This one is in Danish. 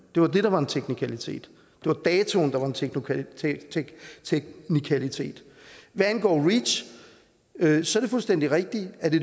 det var det der var en teknikalitet det var datoen der var en teknikalitet teknikalitet hvad angår reach er det fuldstændig rigtigt at det